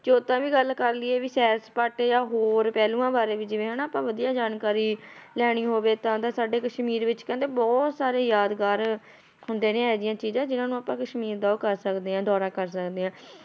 ਜੇ ਓਦਾਂ ਵੀ ਗੱਲ ਕਰ ਲਈਏ ਵੀ ਸ਼ੈਰ ਸਪਾਟੇ ਜਾਂ ਹੋਰ ਪਹਿਲੂਆਂ ਬਾਰੇ ਵੀ ਜਿਵੇਂ ਹਨਾ, ਆਪਾਂ ਵਧੀਆ ਜਾਣਕਾਰੀ ਲੈਣੀ ਹੋਵੇ ਤਾਂ ਤਾਂ ਸਾਡੇ ਕਸ਼ਮੀਰ ਵਿੱਚ ਕਹਿੰਦੇ ਬਹੁਤ ਸਾਰੇ ਯਾਦਗਾਰ ਹੁੰਦੇ ਨੇ ਇਹ ਜਿਹੀਆਂ ਚੀਜ਼ਾਂ, ਜਿਹਨਾਂ ਨੂੰ ਆਪਾਂ ਕਸ਼ਮੀਰ ਦਾ ਉਹ ਕਰ ਸਕਦੇ ਹਾਂ ਦੌਰਾ ਕਰ ਸਕਦੇ ਹਾਂ,